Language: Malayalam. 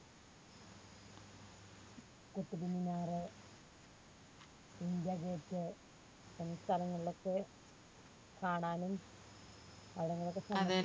കുത്തബ്മിനാർ ഇന്ത്യ gate സ്ഥലങ്ങളിലൊക്കെ കാണാനും